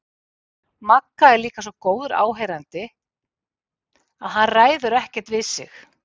Magga er líka svo góður áheyrandi að hann ræður ekkert við sig.